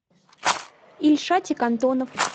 ильшатик антонов